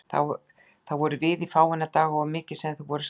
Þar vorum við í fáeina daga og mikið sem þeir voru skemmtilegir.